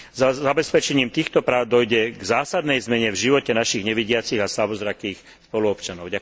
So zabezpečením týchto práv dôjde k zásadnej zmene v živote našich nevidiacich a slabozrakých spoluobčanov.